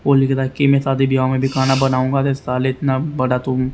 की में शादी विवाह में भी खाना बनाऊंगा तो साले इतना बड़ा तुम।